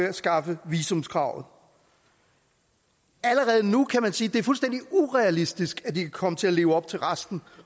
afskaffe visumkravet allerede nu kan man sige at det er fuldstændig urealistisk at de kan komme til at leve op til resten